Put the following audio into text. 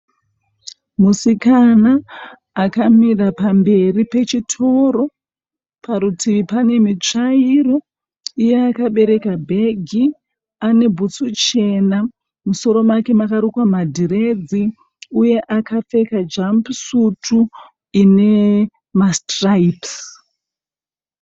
Musikana akamira pamberi pechitoro. Parutivi pane mutsvairo iye akabereka bhegi ane bhutsu chena. Musoro make makarukwa madhiredzi uye akapfeka jambu sutu ine masitiraibhisi.